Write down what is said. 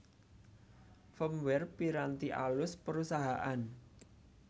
Firmware Piranti alus Perusahaan